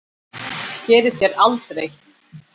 Það gerið þér aldrei.